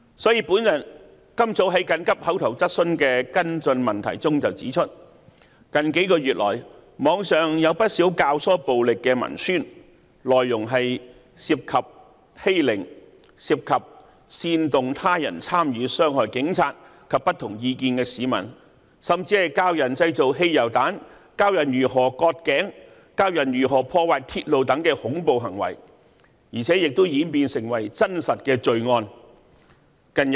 正如我今早在緊急口頭質詢的跟進質詢中指出，近幾個月來，網上有不少教唆暴力的文宣，內容涉及欺凌，涉及煽動他人參與傷害警察及持不同意見的市民，甚至教人製造汽油彈、教人如何割頸、教人如何破壞鐵路等恐怖行為，而且亦演變成真實罪案。